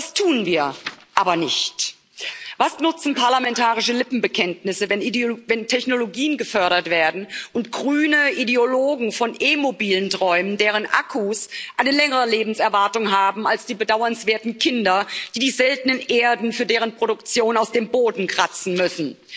Das tun wir aber nicht. Was nutzen parlamentarische Lippenbekenntnisse, wenn Technologien gefördert werden und grüne Ideologen von E Mobilen träumen, deren Akkus eine längere Lebenserwartung haben als die bedauernswerten Kinder, die die seltenen Erden für deren Produktion aus dem Boden kratzen müssen?